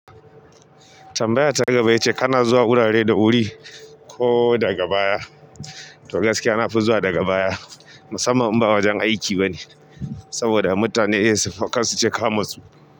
Tambaya ta gaba yace kana zuwa wurare da wuri ko daga baya? To gaskiya nafi zuwa daga baya, musamman in ba wajen aiki ba ne, saboda mutane in sufa kar su ce ka matsu.